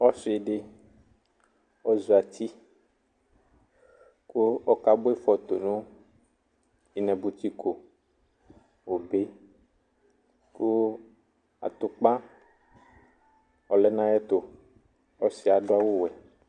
ɔsɩdɩ zatɩ kʊ akabʊa ɩfɩ tʊnʊ ɩnabʊtɩko obe kʊ atʊpa ɔlɛnʊ ayʊɛtʊ ɔsɩyɛ adʊ awuwɛ